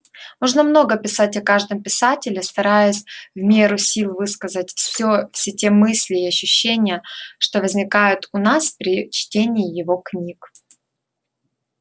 можно много писать о каждом писателе стараясь в меру сил высказать всё все те мысли и ощущения что возникают у нас при чтении его книг